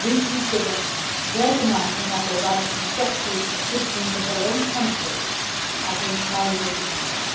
We consider their demand to have their rights respected as citizens of their own country to be entirely legitimate.